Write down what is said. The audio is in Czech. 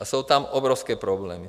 A jsou tam obrovské problémy.